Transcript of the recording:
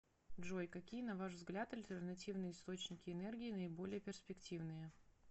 джой какие на ваш взгляд альтернативные источники энергии наиболее перспективные